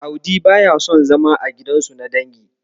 Audi baya son zama a gidansu na dangi.